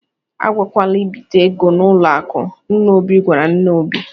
"A gakwala ibite ego n'ụlọ akụ, " nna Obi gwara nne Obi.